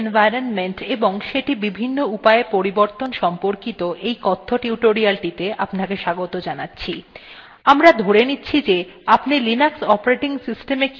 নমস্কার বন্ধুগণ Linux environment এবং সেটি বিভিন্ন উপায়ে পরিবর্তন সম্পর্কিত এই কথ্য টিউটোরিয়ালটিতে আপনাকে স্বাগত জানাচ্ছি